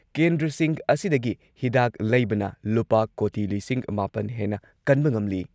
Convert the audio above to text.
ꯀꯦꯟꯗ꯭ꯔꯁꯤꯡ ꯑꯁꯤꯗꯒꯤ ꯍꯤꯗꯥꯛ ꯂꯩꯕꯅ ꯂꯨꯄꯥ ꯀꯣꯇꯤ ꯂꯤꯁꯤꯡ ꯃꯥꯄꯟ ꯍꯦꯟꯅ ꯀꯟꯕ ꯉꯝꯂꯤ꯫